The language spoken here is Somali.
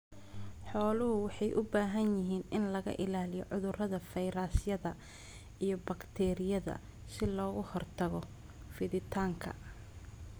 Xooluhu waxay u baahan yihiin in laga ilaaliyo cudurrada fayrasyada iyo bakteeriyada si looga hortago fiditaanka.